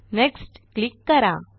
next click करा